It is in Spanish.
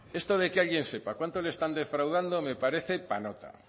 esto de que alguien sepa cuánto le están defraudando me parece para nota